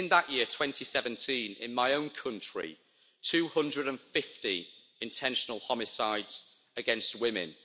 And in that year, 2017, in my own country, 250 intentional homicides against women.